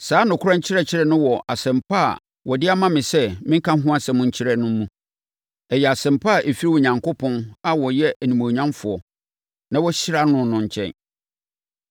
Saa nokorɛ nkyerɛkyerɛ no wɔ Asɛmpa a wɔde ama me sɛ menka ho asɛm nkyerɛ no mu. Ɛyɛ Asɛmpa a ɛfiri Onyankopɔn a ɔyɛ onimuonyamfoɔ na wɔahyira no no nkyɛn.